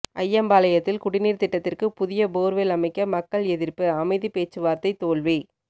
அய்யம்பாளையத்தில் குடிநீர் திட்டத்திற்கு புதிய போர்வெல் அமைக்க மக்கள் எதிர்ப்புஅமைதி பேச்சுவார்த்தை தோல்வி